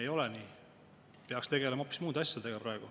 Ei ole nii, praegu peaks tegelema hoopis muude asjadega.